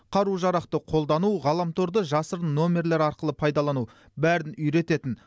қару жарақты қолдану ғаламторды жасырын номерлер арқылы пайдалану бәрін үйрететін